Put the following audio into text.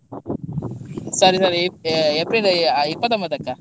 Sorry sorry, April ಇಪ್ಪತೊಂಬತ್ತಕ್ಕ.